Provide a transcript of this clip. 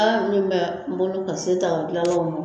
An minnu bɛ n ka se daa dilanlaw ma